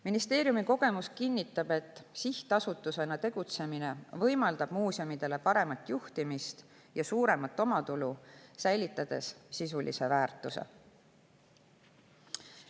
Ministeeriumi kogemus kinnitab, et sihtasutusena tegutsemine võimaldab muuseumide paremat juhtimist ja suuremat omatulu, säilitades sisulise väärtuse.